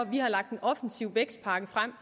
vi har lagt en offensiv vækstpakke frem